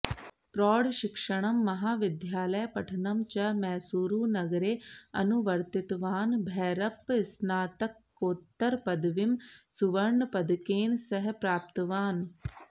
प्रौढशिक्षणं महाविद्यालयपठनं च मैसूरुनगरे अनुवर्तितवान् भैरप्पः स्नातकोत्तरपदवीं सुवर्णपदकेन सह प्राप्तवान्